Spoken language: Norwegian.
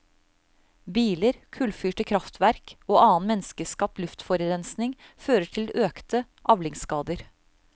Biler, kullfyrte krafftverk og annen menneskeskapt luftforurensning fører til økte avlingsskader.